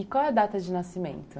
E qual é a data de nascimento?